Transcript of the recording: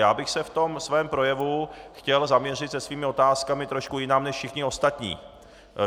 Já bych se v tom svém projevu chtěl zaměřit se svými otázkami trošku jinam než všichni ostatní.